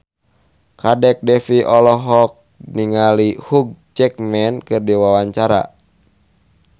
Kadek Devi olohok ningali Hugh Jackman keur diwawancara